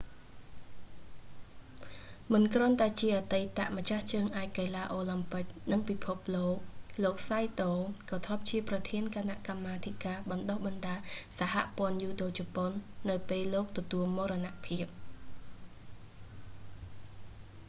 មិនគ្រាន់តែជាអតីតម្ចាស់ជើងឯកកីឡាអូឡាំពិក និងពិភពលោក លោក saito សៃតូ ក៏ធ្លាប់ជាប្រធានគណៈកម្មាធិការបណ្តុះបណ្តាលសហព័ន្ធយូដូជប៉ុន នៅពេលលោកទទួលមរណភាព